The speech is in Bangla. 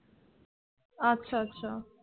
আচ্ছা আচ্ছা।